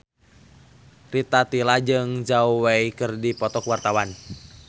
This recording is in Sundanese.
Rita Tila jeung Zhao Wei keur dipoto ku wartawan